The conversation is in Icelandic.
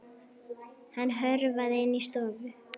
Hann hörfaði inn í stofu.